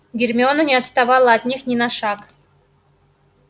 гермиона не отставала от них ни на шаг